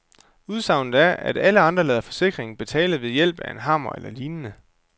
Udsagnet er, at alle andre lader forsikringen betale ved hjælp af en hammer eller lignende.